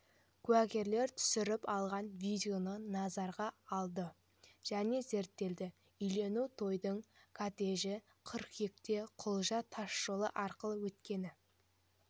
куәгерлер түсіріп алған видео назарға алынды және зерттелді үйлену тойдың кортежі қыркүйекте кұлжа тасжолы арқылы өткені